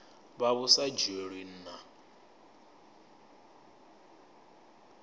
vha vhu sa dzhielwi nha